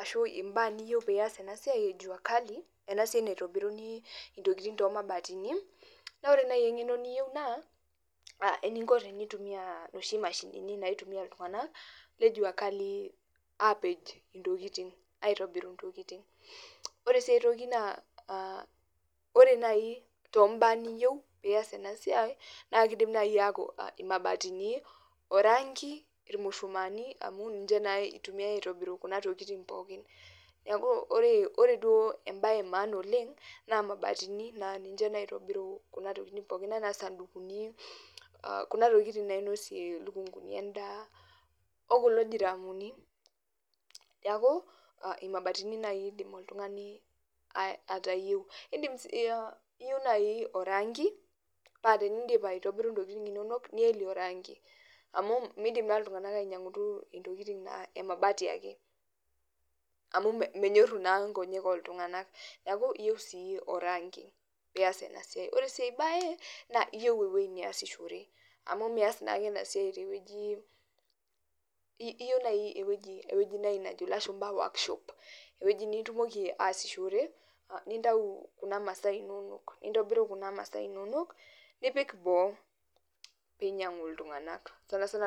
ashu imbaa niyieu pias enasiai e jua kali, enasiai naitobiruni intokiting tomabatini, na ore nai eng'eno niyieu naa, eninko tenintumia noshi mashinini naitumia iltung'anak, le jua kali apej intokiting, aitobiru intokiting. Ore si aitoki naa ore nai tombaa niyieu pias enasiai, na kidim nai aku imabatini, oranki, irmushumaani amu ninche naa itumiai aitobiru kuna tokiting pookin. Neeku ore duo ebae emaana oleng, naa mabatini na ninche naitobiru kuna tokiting pookin enaa sadukini, kuna tokiting nainosie lukunkuni endaa, okulo diramuni. Neeku, imabatini nai idim oltung'ani atayieu. Idim si iyieu nai oranki, pa tenidip aitobiru intokiting inonok, nielie oranki. Amu midim naa iltung'anak ainyang'utu intokiting naa emabati ake. Amu menyorru naa nkonyek oltung'ani. Neeku, iyieu si oranki pias enasiai. Ore si ai bae, naa iyieu ewoi niasishore. Amu mias naake enasiai tewueji iyieu nai ewueji nai najo ilashumpa workshop, ewueji nitumoki aasishore, nintau kuna masaa inonok, nintobiru kuna masaa inonok, nipik boo, pinyang'u iltung'anak, sanasana